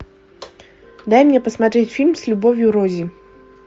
дай мне посмотреть фильм с любовью рози